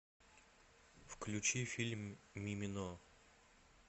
включи фильм мимино